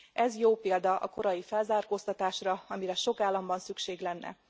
Ez jó példa a korai felzárkóztatásra, amire sok államban szükség lenne.